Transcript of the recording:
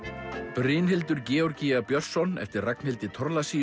Brynhildur Georgia Björnsson eftir Ragnhildi